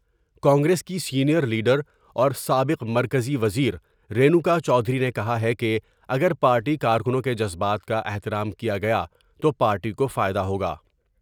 کانگریس کی senior leader اور سابق مرکزی وزیر مینو کا چودھری نے کہا ہے کہ اگر پارٹی کارکنوں کے جذبات کا احترام کیا گیا تو پارٹی کو فائدہ ہوگا ۔